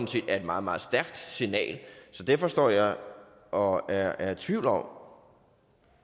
set er et meget meget stærkt signal så derfor står jeg og er i tvivl om